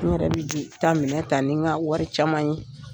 N yɛrɛ bɛ bi ta minɛ ta ni n ka wari caman ye.